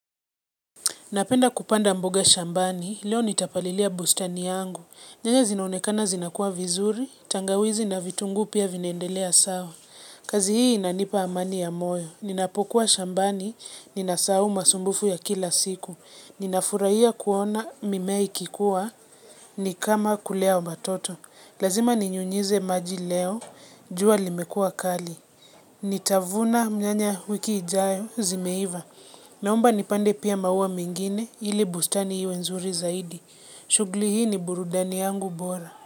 Napenda kupanda mboga shambani, leo nitapalilia bustani yangu. Nyanya zinaonekana zinakua vizuri, tangawizi na vitungu pia vinaendelea sawa. Kazi hii inanipa amani ya moyo. Ninapokuwa shambani, ninasahau masumbufu ya kila siku. Ninafurahia kuona mimea ikikua ni kama kulea watoto. Lazima ninyunyize maji leo, jua limekuwa kali. Nitavuna nyanya wiki ijayo zimeiva. Naomba nipande pia maua mengine ili bustani iwe nzuri zaidi. Shughuli hii ni burudani yangu bora.